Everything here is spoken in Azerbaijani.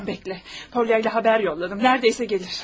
Tamam bekle, Polya'yla xəbər yolladım, nərdəsə gəlir.